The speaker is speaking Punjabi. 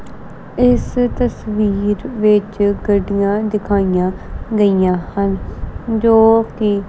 ਇਸ ਤਸਵੀਰ ਵਿਚ ਗੱਡੀਆਂ ਦਿਖਾਇਆ ਗਈਆ ਹਨ ਜੋ ਕਿ--